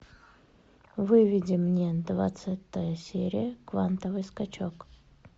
выведи мне двадцатая серия квантовый скачок